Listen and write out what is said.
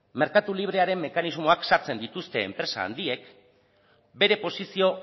merkatu librearen mekanismoak sartzen dituzte enpresa handiek bere posizio